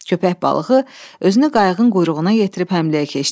Köpək balığı özünü qayığın quyruğuna yetirib həmləyə keçdi.